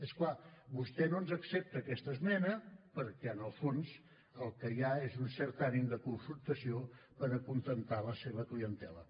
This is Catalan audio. i és clar vostè no ens accepta aquesta esmena perquè en el fons el que hi ha és un cert ànim de confrontació per acontentar la seva clientela